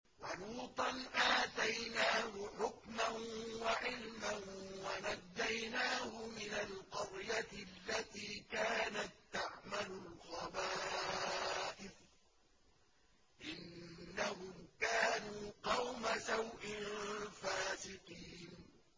وَلُوطًا آتَيْنَاهُ حُكْمًا وَعِلْمًا وَنَجَّيْنَاهُ مِنَ الْقَرْيَةِ الَّتِي كَانَت تَّعْمَلُ الْخَبَائِثَ ۗ إِنَّهُمْ كَانُوا قَوْمَ سَوْءٍ فَاسِقِينَ